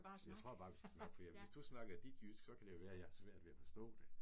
Jeg tror bare vi skal snakke, fordi jeg hvis du snakker dit jysk, så kan det jo være jeg har svært ved at forstå det